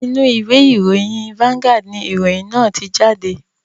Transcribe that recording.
Inú ìwé ìròyìn "vanguard" ni ìròyìn náà tí jáde